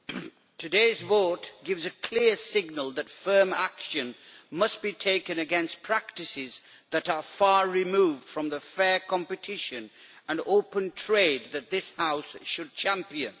Madam President, today's vote gives a clear signal that firm action must be taken against practices that are far removed from the fair competition and open trade that this House should champion.